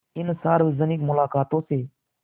इन सार्वजनिक मुलाक़ातों से